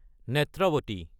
Netravati